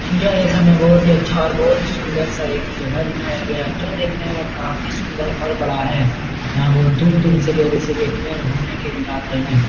यह एक हमें बोहोत ही अच्छा और बोहोत ही सुंदर सा एक जगह दिखाया गया है जो देखने में काफी सुंदर और बड़ा है। यहाँ बोहोत दूर-दूर से लोग इसे देखने ओर घूमने के लिए आते हैं।